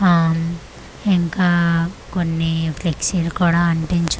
ఆఆ ఇంకా కొన్ని ఫ్లెక్సీ లు కూడా అంటించున్నా--